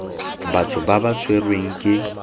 batho ba ba tshwerweng ke